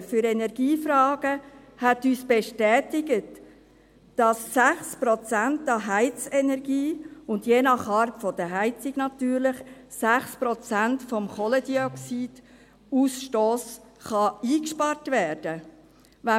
Die Fachstelle für Energiefragen bestätigte uns, dass 6 Prozent an Heizenergie und je nach Art der Heizung natürlich 6 Prozent des Kohlendioxidausstosses eingespart werden kann.